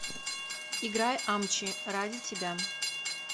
играй амчи ради тебя